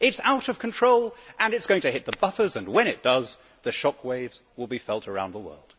It is out of control and it is going to hit the buffers and, when it does, the shockwaves will be felt around the world.